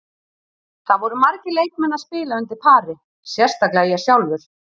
Það voru margir leikmenn að spila undir pari, sérstaklega ég sjálfur.